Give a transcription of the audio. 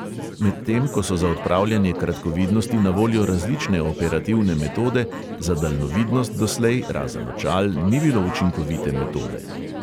Medtem ko so za odpravljanje kratkovidnosti na voljo različne operativne metode, za daljnovidnost doslej razen očal ni bilo učinkovite metode.